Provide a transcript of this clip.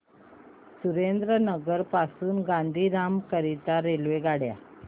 सुरेंद्रनगर पासून गांधीधाम करीता रेल्वेगाड्या